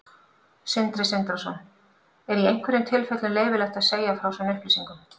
Sindri Sindrason: Er í einhverjum tilfellum leyfilegt að segja frá svona upplýsingum?